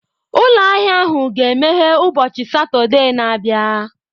Ụlọ ahịa ahụ ga-emeghe ụbọchị Satọde na-abịa.